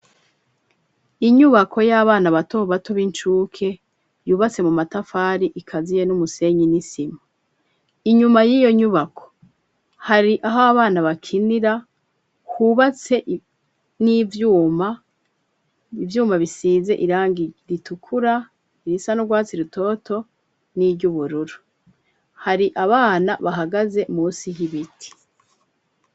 Inyubako y'abana batobatu b'incuke yubatse mu matafari ikaziye n'umusenyi inisima inyuma y'iyo nyubako hari aho abana bakinira hubatse n'ivyuma ivyuma bisize irangi ritukura irisa n'urwatsi rutoa to ni iryo ubururu hari abana bahagaze musi h'ibiti.